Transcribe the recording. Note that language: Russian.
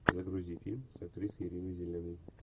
загрузи фильм с актрисой риной зеленой